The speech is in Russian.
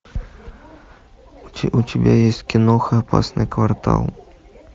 у тебя есть киноха опасный квартал